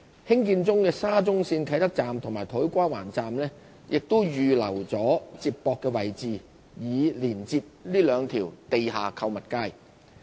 興建中的沙中線啟德站與土瓜灣站亦已預留接駁位置，以連接這兩條地下購物街。